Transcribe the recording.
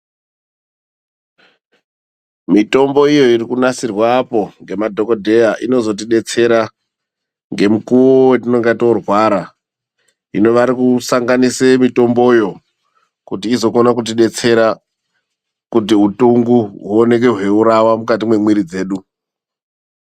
Mitombo iyo irikunasirwa ngemadhokodheya inozotidetsera ngemukuwo wetinenge torwara. Hino vanosanganise mutomboyo kuti vazokone kutidetsera kuti utungo huone hweiurawa mukati mwemiiri dzedu.